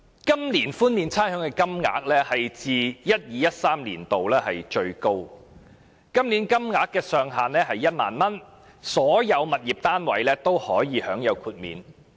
今年寬免差餉的金額是自 2012-2013 年度以來最高的，金額上限為1萬元，所有物業單位均可獲豁免。